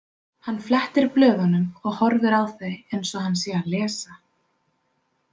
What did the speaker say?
Hann flettir blöðunum og horfir á þau eins og hann sé að lesa.